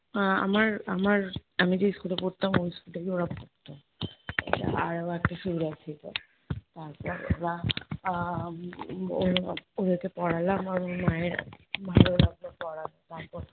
আহ আমার আমার আমি যেই school এ পড়তাম ওই school এই ওরা পড়তো। আরো একটা সুবিধা ছিল তারপর ওরা আহ ওরা ওদেরকে পড়ালাম আমি। মায়ের ভালো লাগলো পড়াতাম।